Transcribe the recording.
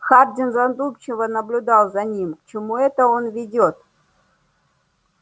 хардин задумчиво наблюдал за ним к чему это он ведёт